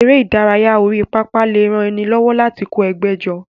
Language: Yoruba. Eré ìdárayá orí pápá lè ran ni lọ́wọ́ láti kó ẹgbẹ́ jọ.